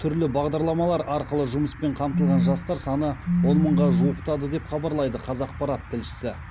түрлі бағдарламалар арқылы жұмыспен қамтылған жастар саны он мыңға жуықтады деп хабарлайды қазақпарат тілшісі